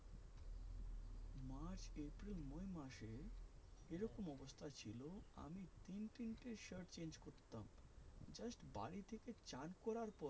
তিনটে shirt change করতাম just বাড়িতে থেকে চান করার পরে